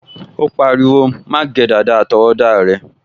O pariwo, "má gé dàda àtọwọ́dá rẹ"